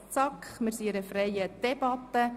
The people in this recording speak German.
Wir führen eine freie Debatte.